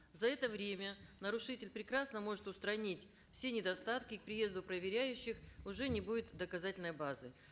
за это время нарушитель прекрасно может устранить все недостатки к приезду проверяющих уже не будет доказательной базы